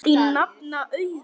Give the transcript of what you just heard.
Þín nafna, Auður.